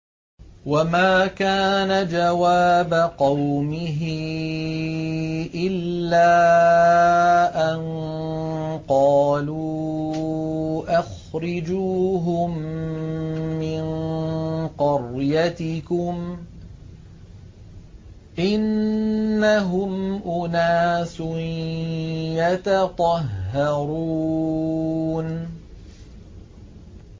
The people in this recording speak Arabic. وَمَا كَانَ جَوَابَ قَوْمِهِ إِلَّا أَن قَالُوا أَخْرِجُوهُم مِّن قَرْيَتِكُمْ ۖ إِنَّهُمْ أُنَاسٌ يَتَطَهَّرُونَ